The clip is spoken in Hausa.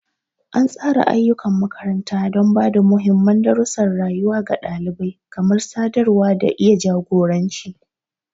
An tsara ayyukan makaranta don ba da muhimman darussan rayuwa ga ɗalibai, kamar sadarwa da iya jagoranci.